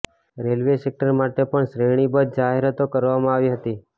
railway sector માટે પણ શ્રેણીબદ્ધ જાહેરાતો કરવામાં આવી હતી